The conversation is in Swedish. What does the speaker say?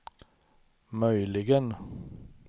möjligen